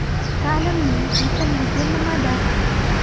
Ta’limning muhimligi nimada?